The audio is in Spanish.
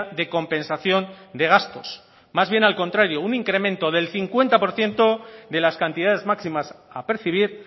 de compensación de gastos más bien al contrario un incremento del cincuenta por ciento de las cantidades máximas a percibir